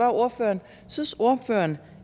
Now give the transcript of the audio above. ordføreren synes ordføreren